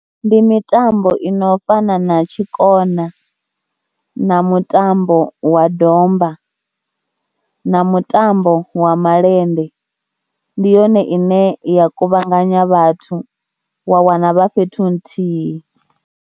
Ndi mitambo ino fana na tshikona na mutambo wa domba na mutambo wa malende ndi yone ine ya kuvhanganya vhathu wa wana vha fhethu huthihi.